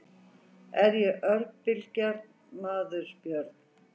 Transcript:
Er ég óbilgjarn maður Björn?